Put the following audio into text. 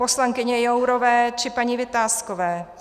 Poslankyně Jourové či paní Vitáskové.